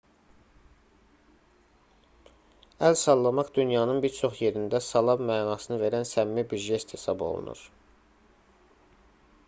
əl sallamaq dünyanın bir çox yerində salam mənasını verən səmimi bir jest hesab olunur